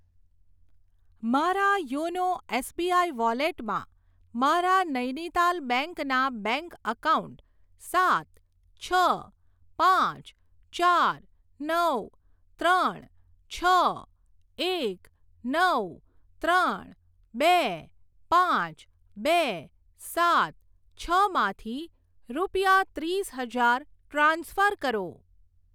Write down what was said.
મારા YONO SBI વોલેટમાં મારા નૈનીતાલ બેંક ના બેંક એકાઉન્ટ સાત છ પાંચ ચાર નવ ત્રણ છ એક નવ ત્રણ બે પાંચ બે સાત છ માંથી રૂપિયા ત્રીસ હજાર ટ્રાન્સફર કરો.